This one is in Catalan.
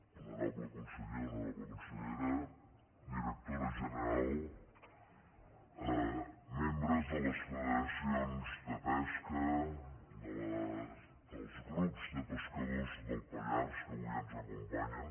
honorable conseller honorable consellera directora general membres de les federacions de pesca dels grups de pescadors del pallars que avui ens acompanyen